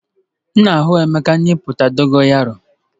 M na-ahụ emeka na epupụta dogo yaro.